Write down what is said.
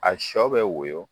A sɔ bɛ woyo